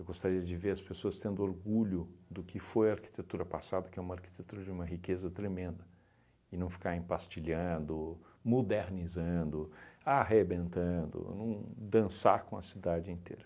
Eu gostaria de ver as pessoas tendo orgulho do que foi a arquitetura passada, que é uma arquitetura de uma riqueza tremenda, e não ficar empastilhando, mudernizando, arrebentando, não dançar com a cidade inteira.